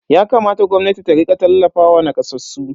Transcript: Yakamata gwamnatin ta rika tallafawa nakasassu.